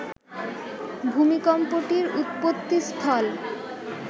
ভূমিকম্পটির উৎপত্তিস্থল